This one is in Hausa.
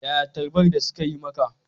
Yaya tarbar da suka yi maka?